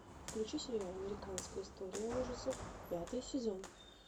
включи сериал американская история ужасов пятый сезон